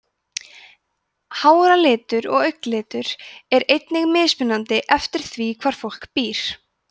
háralitur og augnalitur er einnig mismunandi eftir því hvar fólk býr